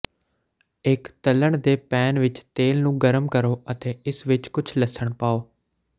ਇੱਕ ਤਲ਼ਣ ਦੇ ਪੈਨ ਵਿੱਚ ਤੇਲ ਨੂੰ ਗਰਮ ਕਰੋ ਅਤੇ ਇਸ ਵਿੱਚ ਕੁਝ ਲਸਣ ਪਾਓ